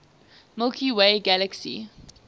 milky way galaxy